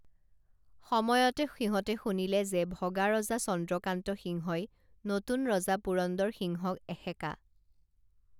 সময়তে সিহঁতে শুনিলে যে ভগা ৰজা চন্দ্ৰকান্ত সিংহই নতুন ৰজা পুৰন্দৰ সিংহক এসেকা